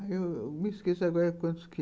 Aí eu me esqueço agora quantos que...